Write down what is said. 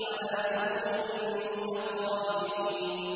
عَلَىٰ سُرُرٍ مُّتَقَابِلِينَ